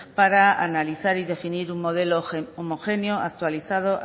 para analizar y definir un modelo homogéneo actualizado